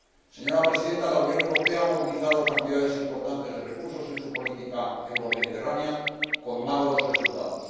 Señora Presidenta, la Unión Europea ha movilizado cantidades importantes de recursos en su política euromediterránea con magros resultados.